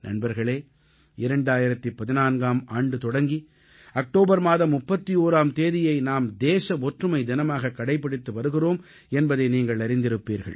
நண்பர்களே 2014ஆம் ஆண்டு தொடங்கி அக்டோபர் மாதம் 31ஆம் தேதியை நாம் தேச ஒற்றுமை தினமாக கடைப்பிடித்து வருகிறோம் என்பதை நீங்கள் அறிந்திருப்பீர்கள்